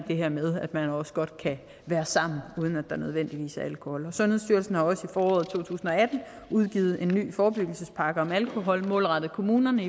det her med at man også godt kan være sammen uden at der nødvendigvis er alkohol sundhedsstyrelsen har også i foråret to tusind og atten udgivet en ny forebyggelsespakke om alkohol målrettet kommunerne